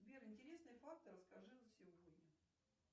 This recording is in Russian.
сбер интересные факты расскажи за сегодня